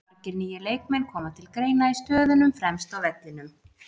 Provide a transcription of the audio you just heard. Margir nýir leikmenn koma til greina í stöðunum fremst á vellinum.